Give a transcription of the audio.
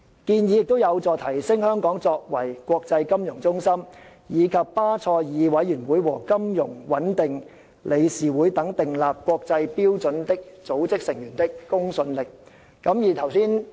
建議有助提升香港作為國際金融中心，以及巴塞爾委員會和金融穩定理事會等訂立國際標準的組織成員的公信力。